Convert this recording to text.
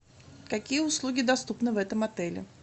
какие услуги доступны в этом отеле